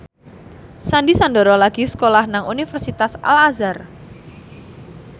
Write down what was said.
Sandy Sandoro lagi sekolah nang Universitas Al Azhar